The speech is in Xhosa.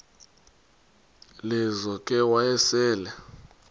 lizo ke wayesel